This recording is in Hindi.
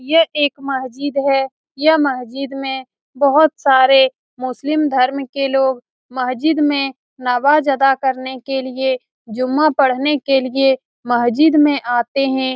ये एक महजिद है यह महजिद में बहुत सारे मुस्लिम धर्म के लोग महजिद में नमाज अदा करने के लिए जुम्मा पढ़ने के लिए महजिद में आते है।